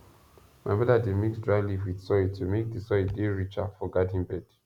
my mother dey mix dry leave with soil to make the soil dey richer for garden bed